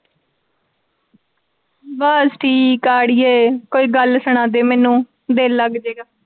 ਬਸ ਠੀਕ ਆ ਅੜੀਏ ਕੋਈ ਗਲ ਸਣਾ ਦੇ ਮੈਨੂੰ ਦਿਲ ਲੱਗ ਜੇਗਾ।